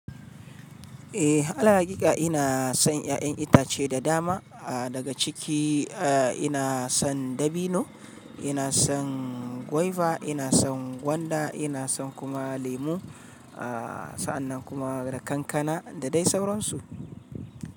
Eh, alal haƙiƙa ina son ƴaƴan itace da dama. A daga ciki, a ina son dabino, ina son gwaiba, ina son gwanda, ina son kuma lemu. A sa'annan kuma da kankana da dai sauransu.